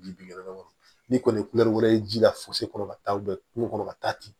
Bi bin dɔrɔn n'i kɔni ye wɛrɛ ji la fosi kɔnɔ ka taa bɛn kungo kɔnɔ ka taa ten